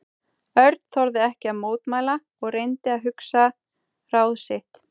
Örn þorði ekki að mótmæla og reyndi að hugsa ráð sitt.